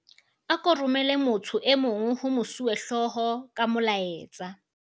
ako romele motho e mong ho mosuwehlooho ka molaetsa